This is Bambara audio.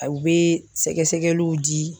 A bɛ sɛgɛsɛgɛliw di.